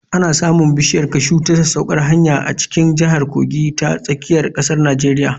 Ana samun bishiya kashu ta sasaukar hanya a cikin jihar Kogi ta tsakiyar ƙasar Nijeriya.